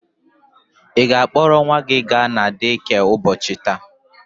Ị ga-akpọrọ nwa gị ga na dekịa ụbọchị taa?